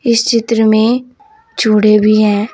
इस चित्र में भी है।